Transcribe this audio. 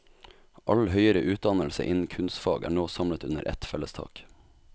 All høyere utdannelse innen kunstfag er nå samlet under et felles tak.